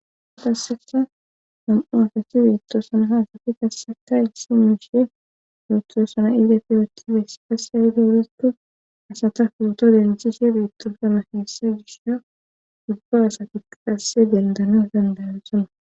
Qassikka nam7u asati beetosona ha asati qasseka issi miishe yootosana eti yootiyobey qassi aybe giikko asata footo dentishe beetosona heessa gisha ubba asatikka qasse dendana dandayosona.